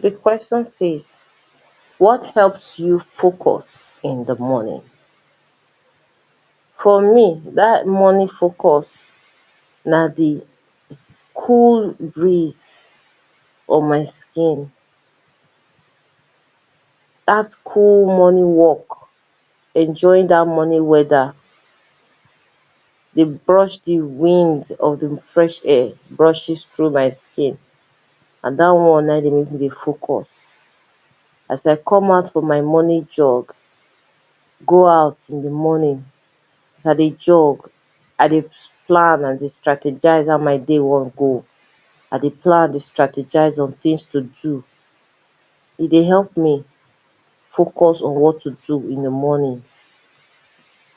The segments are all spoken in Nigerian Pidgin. Di question says what help you focus in di morning? For me, dat morning focus na di cool breeze on my skin, dat cool morning walk, enjoying dat morning weather, dey brush di wind of di fresh air, brushes through my skin, na dat one na im dey make me dey focus, as I come out from my morning jog, go out in di morning, as I dey jog, I dey plan I dey strategize how my day wan go, I dey plan I dey strategize on things to do. E dey help me focus on what to do in di morning,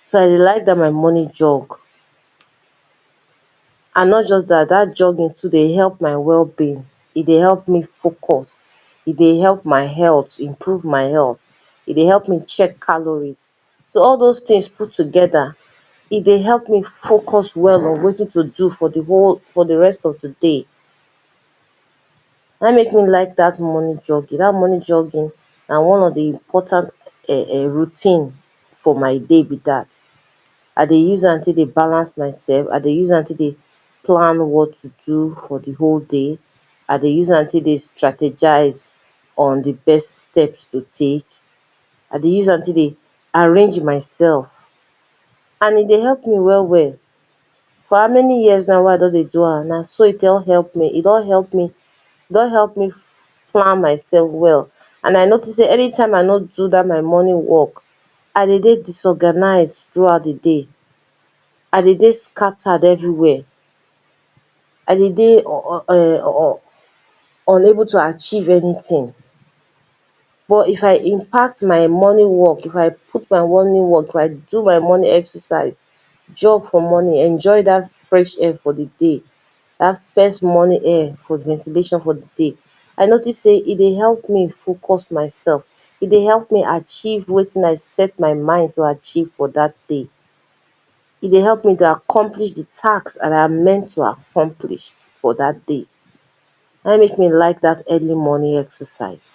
so I dey like dat my morning jog. And not just dat dat jogging too dey help my wellbeing, e dey help me focus, e dey help my health, improve my health, e dey help me chack calories. So all doz things put together, e dey help me focus well on wetin to do for di whole, for di rest of di day, na im make me like dat morning jogging, dat morning jogging na one of di important [urn] routine for my day be dat. I dey use am take dey balance myself, I dey use am take dey plan what to do for di whole day, I dey use am take dey strategize on di best steps to take, I dey use am take dey, arrange myself and e dey help ma well well, for how many years na wey don dey do am na so e don help me, I don help me, e don help me, e don help me plan myself well and I notic anytime I no do dat my morning walk, I dey dey disorganized throughout di day, I dey dey scattered everywhere, I dey dey [urn] unable to achieve anything but if impact my morning walk, if I put my morning walk if I do my morning exercise, jog for morning, enjoy dat fresh air for the day, dat fresh morning air, ventilation for di day, I notice sey e dey help me focus myself, e dey help me achieve wetin I set myself to achieve for dat day. E dey help me accomplish di task dat I am meant to accomplish for dat day, na im make me like dat early morning exercise.